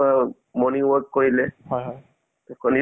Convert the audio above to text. মানে তোমাৰ mainly কি হয় ন